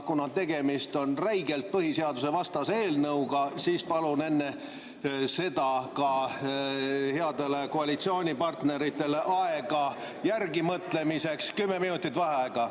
Kuna tegemist on räigelt põhiseadusevastase eelnõuga, siis palun enne seda ka headele koalitsioonipartneritele järelemõtlemiseks kümme minutit vaheaega.